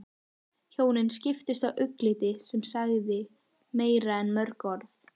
Hjónin skiptust á augnatilliti sem sagði meira en mörg orð.